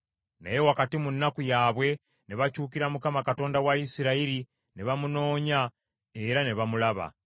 Naye wakati mu nnaku yaabwe ne bakyukira Mukama Katonda wa Isirayiri, ne bamunoonya, era ne bamulaba.